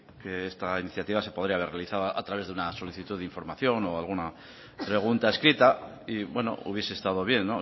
que esta iniciativa se podría haber realizado a través de una solicitud de información o alguna pregunta escrita y bueno hubiese estado bien